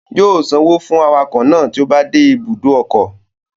Yóò sanwó fún awakọ̀ náà tí ó bá dé ibùdó ọkọ̀